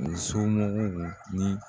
O somɔgɔw ni.